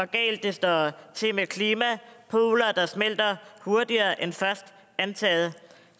galt det står til med klimaet poler der smelter hurtigere end først antaget